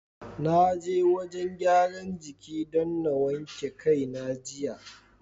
Na je wajen gyaran jiki don na wanke kai na jiya.